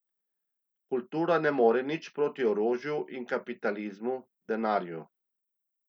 Kultura ne more nič proti orožju in kapitalizmu, denarju.